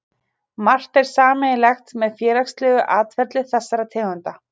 Margt er sameiginlegt með félagslegu atferli þessara tegunda.